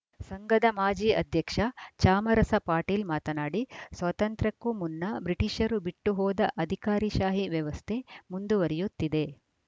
ಸಂಘದ ಮಾಜಿ ಅಧ್ಯಕ್ಷ ಚಾಮರಸ ಪಾಟೀಲ್‌ ಮಾತನಾಡಿ ಸ್ವಾತಂತ್ರ್ಯಕ್ಕೂ ಮುನ್ನ ಬ್ರಿಟಿಷರು ಬಿಟ್ಟು ಹೋದ ಅಧಿಕಾರಿಶಾಹಿ ವ್ಯವಸ್ಥೆ ಮುಂದುವರಿಯುತ್ತಿದೆ